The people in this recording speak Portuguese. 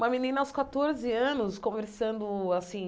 Uma menina aos catorze anos conversando assim,